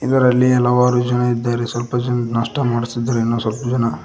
ಇದರಲ್ಲಿ ಹಲವಾರು ಜನ ಇದ್ದಾರೆ ಸ್ವಲ್ಪ ಜನ ನಾಷ್ಟ ಮಾಡುತ್ತಿದ್ದಾರೆ ಇನ್ನು ಸ್ವಲ್ಪ ಜನ--